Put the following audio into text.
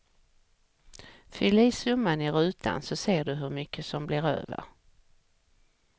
Fyll i summan i rutan så ser du hur mycket som blir över.